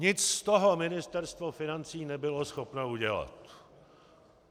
Nic z toho Ministerstvo financí nebylo schopno udělat.